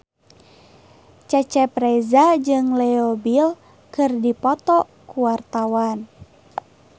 Cecep Reza jeung Leo Bill keur dipoto ku wartawan